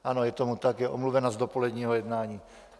Ano, je tomu tak, je omluvena z dopoledního jednání.